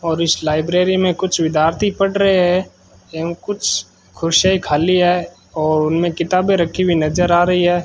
और इस लाइब्रेरी में कुछ विद्यार्थी पड़ रहे है एवं कुछ कुर्सियां खाली है और उनमें किताबें रखी हुई नजर आ रही है।